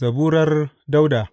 Zaburar Dawuda.